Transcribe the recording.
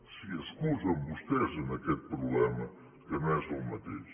s’hi excusen vostès en aquest problema que no és el mateix